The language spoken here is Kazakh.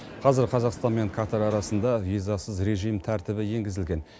қазір қазақстан мен катар арасында визасыз режим тәртібі енгізілген